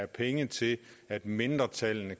penge til at mindretallene